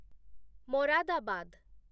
Moradabad